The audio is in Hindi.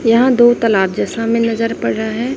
यहां दो तलाब जैसा हमे नजर पड़ रहा है।